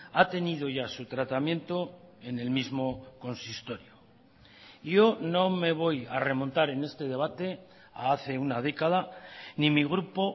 ha tenido ya su tratamiento en el mismo consistorio yo no me voy a remontar en este debate a hace una década ni mi grupo